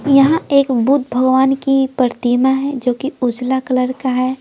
यहां एक बुद्ध भगवान की प्रतिमा है जो कि उजला कलर का है।